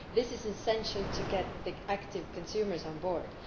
This is essential to get active consumers on board.